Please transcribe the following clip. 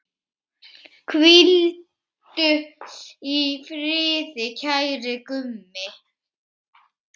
Hvíldu í friði, kæri Gummi.